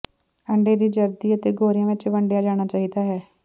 ਅੰਡੇ ਦੀ ਜ਼ਰਦੀ ਅਤੇ ਗੋਰਿਆ ਵਿੱਚ ਵੰਡਿਆ ਜਾਣਾ ਚਾਹੀਦਾ ਹੈ